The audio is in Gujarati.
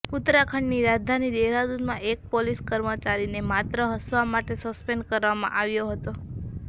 ઉત્તરાખંડની રાજધાની દેહરાદૂનમાં એક પોલીસ કર્મચારીને માત્ર હંસવા માટે સસ્પેન્ડ કરવામાં આવ્યો હતો